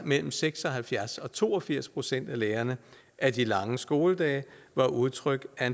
mellem seks og halvfjerds procent og to og firs procent af lærerne at de lange skoledage var udtryk